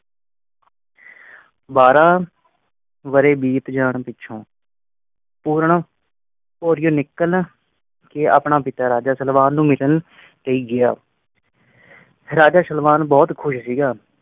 ਬਾਰਾਂ ਵਾਰੇ ਬੀਤ ਜਾਨ ਪਿੱਛੋਂ ਪੂਰਨ ਭੌਰੀਆਂ ਨਿਕਲ ਕੇ ਆਪਣਾ ਪਿਤਾ ਰਾਜਾ ਤਲਵਾਰ ਨੂੰ ਮਿਲਣ ਲਈ ਗਿਆ ਰਾਜਾ ਸਲਵਾਨ ਬਹੁਤ ਖੁਸ ਸੀਗਾ।